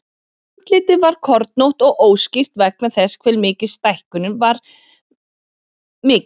Andlitið var kornótt og óskýrt vegna þess hve stækkunin var mikil.